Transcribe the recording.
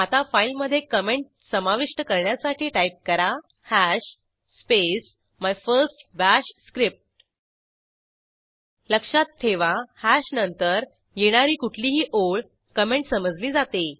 आता फाईलमधे कॉमेंट समाविष्ट करण्यासाठी टाईप करा hash space my first bash script लक्षात ठेवा हॅश नंतर येणारी कुठलीही ओळ कॉमेंट समजली जाते